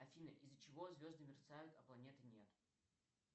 афина из за чего звезды мерцают а планеты нет